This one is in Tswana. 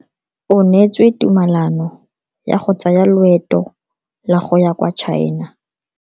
O neetswe tumalano ya go tsaya loeto la go ya kwa China.